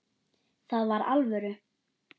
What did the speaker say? Það var alvöru.